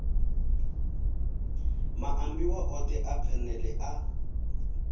maambiwa othe a phanele a